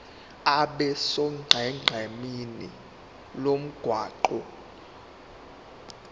abe sonqenqemeni lomgwaqo